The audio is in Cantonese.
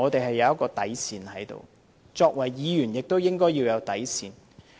可是，作為議員，我們也有一道底線。